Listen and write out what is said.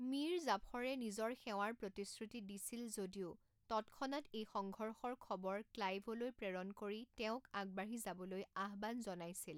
মীৰ জাফৰে নিজৰ সেৱাৰ প্ৰতিশ্ৰুতি দিছিল যদিও তৎক্ষণাত এই সংঘৰ্ষৰ খবৰ ক্লাইভলৈ প্ৰেৰণ কৰি তেওঁক আগবাঢ়ি যাবলৈ আহ্বান জনাইছিল।